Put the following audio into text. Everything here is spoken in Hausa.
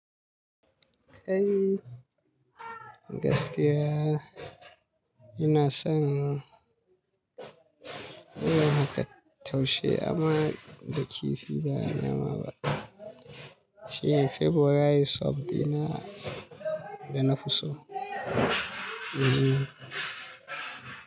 Kai gaskiya ina son yin haka taushe amma da kifi ba nama ba. Shine February sub dina da nafi so.